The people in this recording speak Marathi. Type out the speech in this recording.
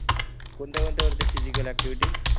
कोणत्या कोणत्या करतो फीझिकल ऍक्टिव्हिटी